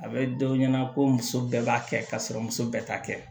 A bɛ dɔ ɲɛna ko muso bɛɛ b'a kɛ ka sɔrɔ muso bɛɛ ta kɛ